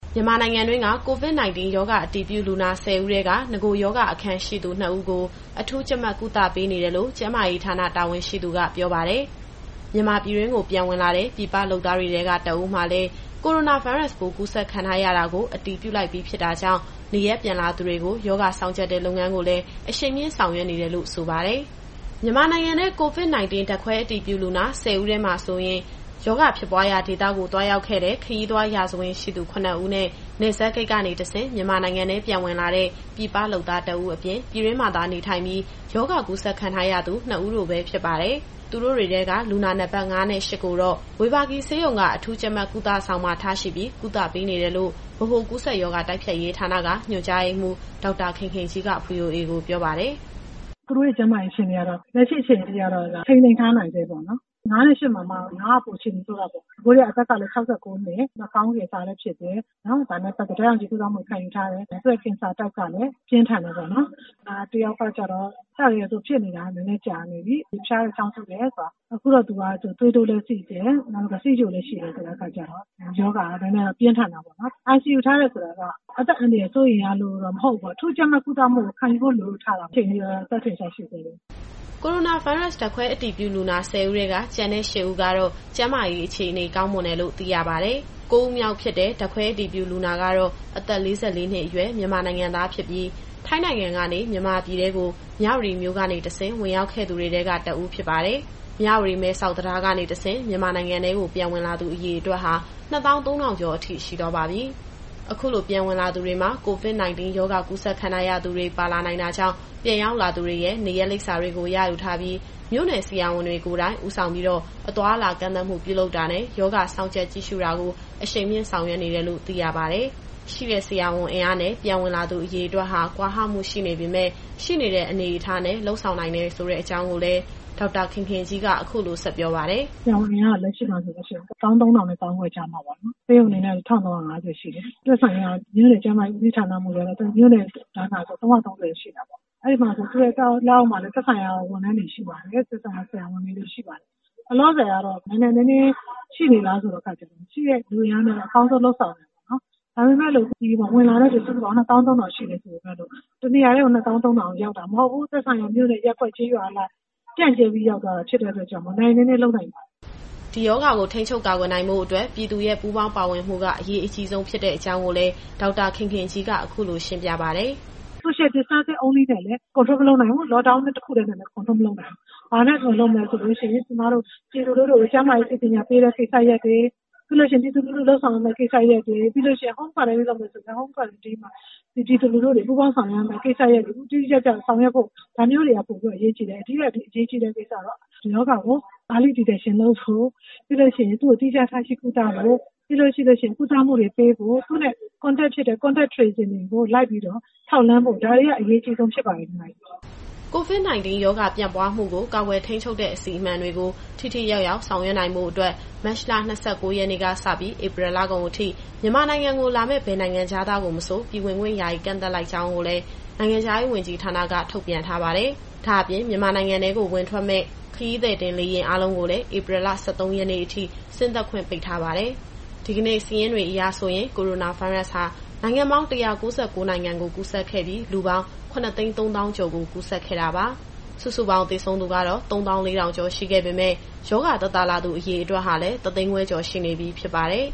မြန်မာနိုင်ငံတွင်းက COVID-19 ရောဂါအတည်ပြုလူနာ ၁၄ဦးထဲက နဂိုရောဂါအခံရှိသူ ၂ဦးကို အထူးကြပ်မတ်ကုသပေးနေတယ်လို့ ကျန်းမာရေးဌာန တာဝန်ရှိသူကပြောပါတယ်။ မြန်မာပြည်တွင်းကိုပြန်ဝင်လာတဲ့ ပြည်ပလုပ်သားတွေထဲက ၁ဦးမှာလည်း ကိုရိုနာဗိုင်းရပ်စ်ပိုးကူးစက်ခံထားရတာကို အတည်ပြုပြီးဖြစ်တာကြောင့် နေရပ်ပြန်လာသူတွေကို ရောဂါစောင့်ကြပ်တဲ့လုပ်ငန်းကိုလည်း အရှိန်မြှင့်ဆောင်ရွက်နေတယ်လို့လည်း ဆိုပါတယ်။ အပြည့်အစုံကို ဗွီအိုအေမြန်မာပိုင်း သတင်းထောက် စုစုကပြောပြသွားမှာပါ။ မြန်မာနိုင်ငံထဲ COVID-19ဓာတ်ခွဲအတည်ပြုလူနာ ၁၄ ဦးထဲမှာဆိုရင်၊ ရောဂါဖြစ်ပွားရာဒေသကို သွားရောက်ခဲ့တဲ့ ခရီးသွားရာဇဝင်ရှိသူ ၇ဦးနဲ့ နယ်စပ်ဂိတ်ကနေတဆင့် မြန်မာနိုင်ငံထဲပြန်ဝင်လာတဲ့ ပြည်ပလုပ်သား ၁ဦးအပြင်၊ ပြည်တွင်းမှာသာနေထိုင်ပြီး ရောဂါကူးစက်ခံထားရသူ ၂ဦး တို့ပဲဖြစ်ပါတယ်။ သူတို့တွေထဲက လူနာနံပတ် ၅ နဲ့ ၈ ကိုတော့ ဝေဘာဂီဆေးရုံက အထူးကြပ်မတ်ကုသဆောင်မှာထားရှိပြီး ကုသပေးနေတယ်လို့ ဗဟိုကူးစက်ရောဂါ တိုက်ဖျက်ရေးဌာနက ညွှန်ကြားရေးမှူး ဒေါက်တာခင်ခင်ကြီးက ဗွီအိုအေကို ပြောပါတယ်။ “သူတို့ရဲ့ကျန်းမာရေးကတော့ လက်ရှိအခြေအနေထိကတော့ ထိန်းသိမ်းထားနိုင်ဆဲပေါ့နော်။ လူနာအမှတ် ၅နဲ့ ၈မှာမှ ၅က အခြေအနေပိုဆိုးတာပေါ့နော်။ အသက်ကလည်း ၆၉နှစ်၊ နှာခေါင်းကင်ဆာလည်းဖြစ်တယ်။ ဒါနဲ့ပတ်သက်ပြီးတော့ ဓာတ်ရောင်ခြည်ကုသမှုလည်း ခံယူထားရတယ်။ သူ့ရဲ့ကင်ဆာကလည်း ပြင်းထန်တယ်ပေါ့နော်။ နောက်တယောက်ကတော့ အစကတည်းက သူကဖြစ်နေတာ နည်းနည်းကြာနေပြီ။ ဖျားတယ်၊ ချောင်းဆိုးတယ်၊ သွေးတိုး၊ ဆီးချိုလည်းရှိတဲ့အခါကျတော့ ရောဂါကနည်းနည်းတော့ ပြင်းထန်တာပေါ့နော်။ ICUထားတယ်ဆိုတာက အသက်အန္တရာယ်စိုးရိမ်ရလို့တော့ မဟုတ်ဘူးပေါ့။ အထူးကြပ်မတ်ကုသမှုကို ခံယူဖို့လိုလို့ ထားတာဖြစ်တယ်။ အခုချိန်ထိတော့ အသက်ထင်ရှားရှိဆဲပဲ။” ကိုရိုနာဗိုင်းရပ်စ်ဓာတ်ခွဲအတည်ပြုလူနာ ၁၄ဦးထဲက ကျန်တဲ့ သူတွေကတော့ ကျန်းမာရေးအခြေအနေကောင်းမွန်တယ်လို့ သိရပါတယ်။ ကိုးဦးမြောက်ဖြစ်တဲ့ ဓာတ်ခွဲအတည်ပြုလူနာကတော့ အသက်၄၄နှစ်အရွယ် မြန်မာနိုင်ငံသားဖြစ်ပြီး ထိုင်းနိုင်ငံကနေ မြန်မာပြည်ထဲကို မြဝတီမြို့ကနေတဆင့် ဝင်ရောက်ခဲ့သူတွေထဲက တဦးဖြစ်ပါတယ်။ မြဝတီ-မဲဆောက် တံတားကနေတဆင့် မြန်မာနိုင်ငံထဲကို ပြန်ဝင်လာသူအရေအတွက်ဟာ ၂၃,၀၀၀ ကျော်အထိရှိသွားပါပြီ။ အခုလိုပြန်ဝင်လာသူတွေမှာ COVID- 19 ရောဂါကူးစက်ခံထားရသူတွေ ပါလာနိုင်တာကြောင့် ပြန်ရောက်လာသူတွေရဲ့ နေရပ်လိပ်စာတွေကို ရယူထားပြီး မြို့နယ်ဆရာဝန်တွေကိုယ်တိုင် ဦးဆောင်ပြီး အသွားအလာကန့်သတ်မှုတွေပြုလုပ်တာနဲ့ ရောဂါစောင့်ကြပ်ကြည့်ရှုတာကို အရှိန်မြှင့်ဆောင်ရွက်နေတယ်လို့ သိရပါတယ်။ ဆရာဝန်အင်အားနဲ့ ပြန်ဝင်လာသူအရေအတွက်ဟာ ကွာဟမှုရှိနေပေမယ့် ရှိနေတဲ့အနေအထားနဲ့ လုပ်ဆောင်နိုင်တယ်ဆိုတဲ့အကြောင်းကိုလည်း ဒေါက်တာခင်ခင်ကြီးက အခုလိုဆက်ပြောပါတယ်။ “ဆရာဝန်အင်အားက လက်ရှိမှာဆိုရင် ၁၃,၀၀၀ နဲ့ ၁၅,၀၀၀ ကြားမှာပေါ့နော်။ ဆေးရုံအနေနဲ့ ၁,၃၅၀ ရှိတယ်။ သက်ဆိုင်ရာ မြို့နယ်ကျန်းမာရေးဦးစီးမှူးကတော့ မြို့နယ်တိုင်းမှာဆို ၃၃၀ ရှိတာပေါ့။ သူ့ရဲ့လက်အောက်မှာလည်း သက်ဆိုင်ရာဝန်ထမ်းတွေ ဆရာဝန်တွေရှိပါတယ်။ လောလောဆယ်ကတော့ နိုင်နိုင်နင်းနင်းရှိနေလားဆိုတဲ့အခါကျတော့ ရှိတဲ့လူအင်အားနဲ့ အကောင်းဆုံးတော့လုပ်ဆောင်နေပါတယ်။ ဒါပေမယ့် ဝင်လာတဲ့သူက ၂၃,၀၀၀ ကျော်ရှိတယ်ဆိုပေမယ့်လို့ တနေရာတည်းကို ၂၃,၀၀၀ လုံးရောက်တာမဟုတ်ဘူး။ သက်ဆိုင်ရာမြို့နယ်၊ ရပ်ကွက်၊ ကျေးရွာအလိုက် ပြန့်ကြဲပြီးရောက်သွားတာဖြစ်လို့ နိုင်နိုင်နင်းနင်းလုပ်နိုင်ပါတယ်။” ဒီရောဂါကို ထိန်းချုပ်နိုင်ဖို့အတွက်ဆို ပြည်သူရဲ့ပူးပေါင်းပါဝင်မှုက အရေးအကြီးဆုံးဖြစ်တဲ့အကြောင်းကို ဒေါက်တာခင်ခင်ကြီးက အခုလိုရှင်းပြပါတယ်။ “Social Distancing တခုတည်းနဲ့လည်း မထိန်းချုပ်နိုင်ဘူး။ Lockdown တခုတည်းနဲ့လည်း ထိန်းချုပ်လို့မရဘူး။ ဘာနဲ့ထိန်းချုပ်မလဲဆိုရင် ကျမတို့ပြည်သူလူထုကို ကျန်းမာရေးပညာပေးတဲ့ကိစ္စရပ်တွေ၊ ပြည်သူတွေလုပ်ဆောင်ရမယ့် ကိစ္စရပ်တွေ၊ ပြီးရင် Home Quarantine လုပ်မယ်ဆိုရင် ပြည်သူတွေပူးပေါင်းဆောင်ရွက်ရမယ့် ကိစ္စရပ်တွေ တိတိကျကျဆောင်ရွက်ဖို့ ဒါမျိုးတွေက ပိုပြီးတော့အရေးကြီးတယ်။ ဒါထက်အရေးကြီးတာကတော့ ဒီရောဂါကို စောစီးစွာသိရှိဖို့ ပြီးရင် သီးခြားထားရှိကုသဖို့၊ သူနဲ့နီးစပ်ခဲ့သူတွေကို စုံစမ်းထောက်လှမ်းဖို့ ဒါတွေကအရေးအကြီးဆုံး ဖြစ်ပါတယ်။” COVID- 19 ရောဂါပြန့်ပွားမှုကို ကာကွယ်ထိန်းချုပ်တဲ့အစီအမံတွေကို ထိထိရောက်ရောက် ဆောင်ရွက်နိုင်ဖို့အတွက် မတ်လ ၂၉ရက်နေ့ကစပြီး ဧပြီလကုန်အထိ မြန်မာနိုင်ငံကိုလာမယ့် ဘယ်နိုင်ငံခြားသားကိုမဆို ပြည်ဝင်ခွင့်ယာယီကန့်သတ်လိုက်ကြောင်းကိုလည်း နိုင်ငံခြားရေးဝန်ကြီးဌာနက ထုတ်ပြန်ထားပါတယ်။ ဒါ့အပြင် မြန်မာနိုင်ငံ ဝင်ထွက်မယ့် ခရီးသည်တင်လေယာဉ်အားလုံးကိုလည်း ဧပြီ ၁၃ရက်နေ့အထိ ဆင်းသက်ခွင့်ပိတ်ထားပါတယ်။ ဒီကနေ့စာရင်းတွေအရဆိုရင်တော့ ကိုရိုနာဗိုင်းရပ်ဟာ နိုင်ငံပေါင်း ၁၉၉ နိုင်ငံကိုကူးစက်ခဲ့ပြီး လူပေါင်း ၇၃၀,၀၀၀ ကျော်ကို ကူးစက်ခဲ့တာပါ။ စုစုပေါင်းသေဆုံးသူကတော့ ၃၄,၀၀၀ ကျော် ရှိခဲ့ပေမယ့် ရောဂါသက်သာလာသူ အရေအတွက်ဟာလည်း ၁၅၀,၀၀၀ ကျော်ရှိနေပြီ ဖြစ်ပါတယ်